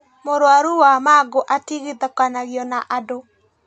Mũrũaru wa mangũ atigithũkanagio na andũ